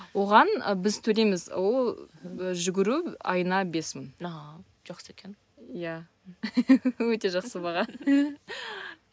оған біз төлейміз ол жүгіру айына бес мың ааа жақсы екен иә өте жақсы баға